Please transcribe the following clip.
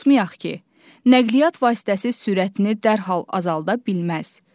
Unutmayaq ki, nəqliyyat vasitəsi sürətini dərhal azalda bilməz.